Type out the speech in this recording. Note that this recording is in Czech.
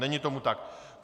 Není tomu tak.